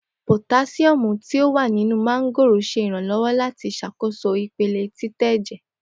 Potasiomu ti o wa ninu mángóòrò ṣe iranlọwọ lati ṣakoso ipele titẹ ẹjẹ